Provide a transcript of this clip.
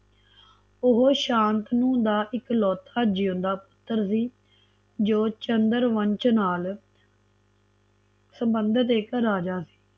ਓਹ ਸ਼ਾਂਤਨੂ ਦਾ ਇਕ ਲੋਤਾ ਜਿਉਂਦਾ ਪੁੱਤਰ ਸੀ ਜੌ ਚੰਦਰ ਵੰਸ਼ ਨਾਲ ਸਬੰਧਤ ਇਕ ਰਾਜਾ ਸੀ